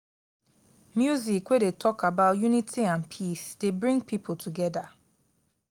music wey dey tok about unity and peace dey bring pipo togeda.